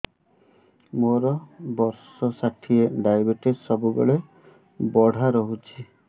ମୋର ବର୍ଷ ଷାଠିଏ ଡାଏବେଟିସ ସବୁବେଳ ବଢ଼ା ରହୁଛି